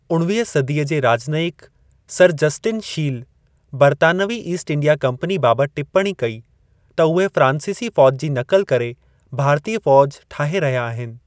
उणवीह सदीअ जे राजनयिक सर जस्टिन शील, बरतानवी ईस्ट इंडिया कंपनी बाबतु टिप्पणी कई त उहे फ्रांसीसी फौज जी नक़ल करे, भारतीय फौज ठाहे रहिया आहिनि।